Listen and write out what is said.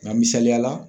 Nga misaliya la